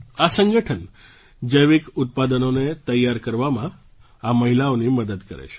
આ સંગઠન જૈવિક ઉત્પાદનોને તૈયાર કરવામાં આ મહિલાઓની મદદ કરે છે